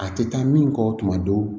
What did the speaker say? A tɛ taa min kɔ tuma dɔw